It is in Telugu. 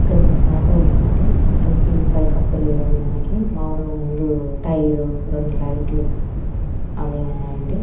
ఇక్కడ మనకు ఆటో ఉంది అండి ఆటో కి పై కప్పు లేదండీ మనకి మామూలుగా ముందు టైరు. రెండు లైట్ లు అవి ఉన్నాయి అండి.